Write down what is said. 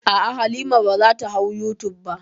A'a, Halima ba za ta hau youtube ba.